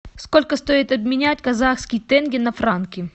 сколько стоит обменять казахские тенге на франки